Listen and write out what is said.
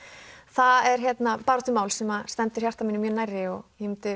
það er baráttumál sem stendur hjarta mínu mjög nærri og ég myndi